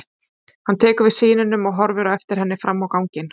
Hann tekur við syninum og horfir á eftir henni fram á ganginn.